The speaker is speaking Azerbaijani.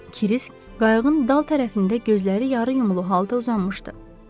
Krisk qayığın dal tərəfində gözləri yarıyumulu halda uzanmışdı.